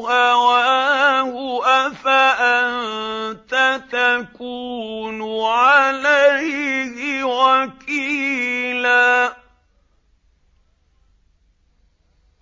هَوَاهُ أَفَأَنتَ تَكُونُ عَلَيْهِ وَكِيلًا